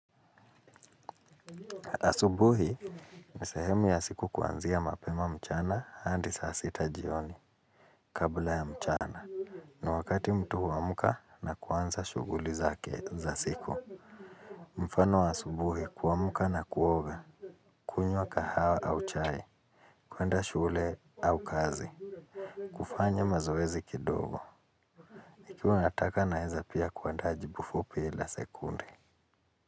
Asubuhi, ni sehemu ya siku kuanzia mapema mchana hadi saa sita jioni kabla ya mchana. Ni wakati mtu huamka na kuanza shughuli zake za siku. Mfano wa asubuhi kuamka na kuoga. Kunywa kahawa au chai, kuenda shule au kazi. Kufanya mazoezi kidogo. Ikiwa nataka naeza pia kuandaa jibu fupi la sekunde.